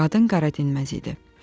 Qadın qara dinməz idi.